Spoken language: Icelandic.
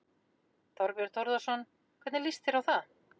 Þorbjörn Þórðarson: Hvernig líst þér á það?